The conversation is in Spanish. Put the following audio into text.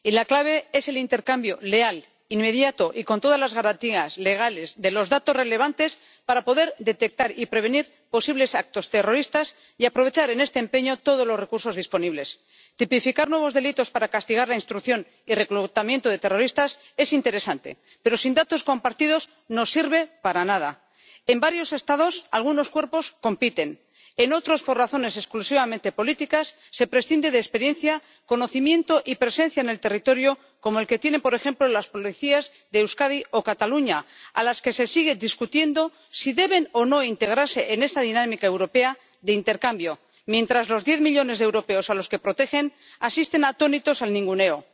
Señora presidenta, en la lucha antiterrorista es urgente pasar de las palabras a los hechos, y la clave es el intercambio leal, inmediato y con todas las garantías legales de los datos relevantes para poder detectar y prevenir posibles actos terroristas y aprovechar en este empeño todos los recursos disponibles. Tipificar nuevos delitos para castigar la instrucción y reclutamiento de terroristas es interesante, pero sin datos compartidos no sirve para nada. En varios Estados, algunos cuerpos compiten en otros, por razones exclusivamente políticas, se prescinde de experiencia, conocimiento y presencia en el territorio como los que tienen, por ejemplo, las policías de Euskadi o Cataluña, a las que se sigue discutiendo si deben o no integrarse en esta dinámica europea de intercambio, mientras los diez millones de europeos a los que protegen asisten atónitos al ninguneo.